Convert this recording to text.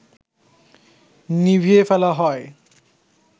নিভিয়ে ফেলা হয়